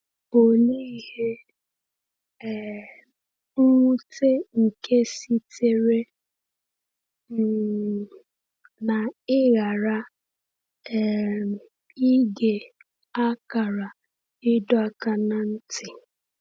Olee ihe um nwute nke sitere um n’ịghara um ige akara ịdọ aka ná ntị!